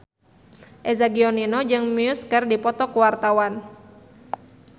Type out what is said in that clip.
Eza Gionino jeung Muse keur dipoto ku wartawan